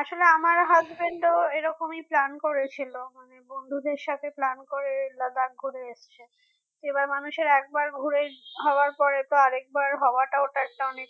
আসলে আমার husband তো এ রকমই plan করেছিল মানে বন্ধুদের সাথে plan করে Ladakh ঘুরে এসেছে এবার মানুষের একবার ঘুরে হওয়ার পরে তো আরেকবার হওয়াটা ওটা একটা অনেক